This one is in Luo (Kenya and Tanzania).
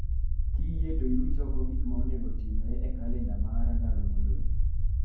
Kiyie toiruch oko gik ma onego otimre e kalenda mara ndalo ma odong'